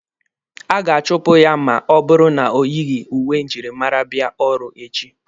A ga-achụpụ ya ma ọ bụrụ na o yighi uwe njirimara bịa ọrụ echi.